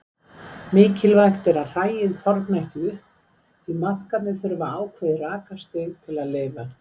Mikilvægt er að hræið þorni ekki upp því maðkarnir þurfa ákveðið rakastig til að lifa.